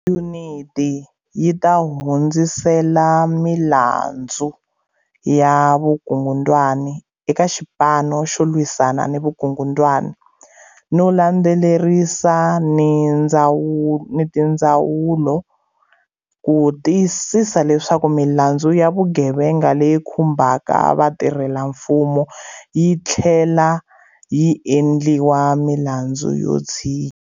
Yuniti yi ta hundzisela milandzu ya vukungundwani eka Xipanu xo Lwisana ni Vukungundwani no landzelerisa ni tindzawulo ku tiyisisa leswaku milandzu ya vugevenga leyi khumbaka vatirhelamfumo yi tlhlela yi endliwa milandzu yo tshinya.